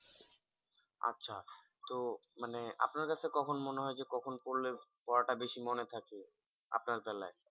আচ্ছা তো মানে আপনার কাছে কখন মনে হয় যে কখন পড়লে পড়াটা বেশি মনে থাকে? আপনার বেলায়